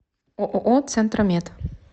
ооо центромед